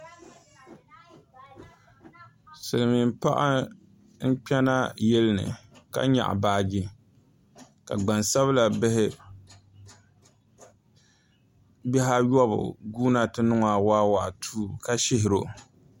Silmiin paɣa n kpɛna yili ni ka nyaɣa baaji ka gbansabila bihi ayobu guuna ti ni ŋɔ awaawaatuu ka shihiro